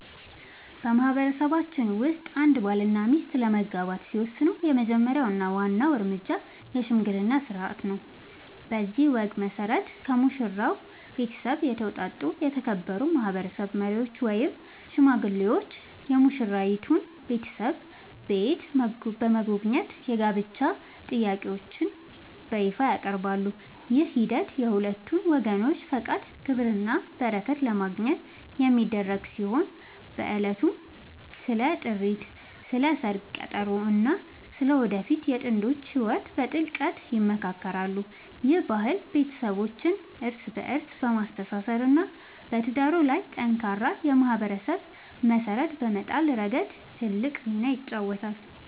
በማህበረሰባችን ውስጥ አንድ ባልና ሚስት ለመጋባት ሲወስኑ የመጀመሪያው እና ዋናው እርምጃ **የሽምግልና ሥርዓት** ነው። በዚህ ወግ መሠረት፣ ከሙሽራው ቤተሰብ የተውጣጡ የተከበሩ ማህበረሰብ መሪዎች ወይም ሽማግሌዎች የሙሽራይቱን ቤተሰብ ቤት በመጎብኘት የጋብቻ ጥያቄያቸውን በይፋ ያቀርባሉ። ይህ ሂደት የሁለቱን ወገኖች ፈቃድ፣ ክብርና በረከት ለማግኘት የሚደረግ ሲሆን፣ በዕለቱም ስለ ጥሪት፣ ስለ ሰርግ ቀጠሮ እና ስለ ወደፊቱ የጥንዶቹ ህይወት በጥልቀት ይመካከራሉ። ይህ ባህል ቤተሰቦችን እርስ በእርስ በማስተሳሰር እና በትዳሩ ላይ ጠንካራ የማህበረሰብ መሰረት በመጣል ረገድ ትልቅ ሚና ይጫወታል።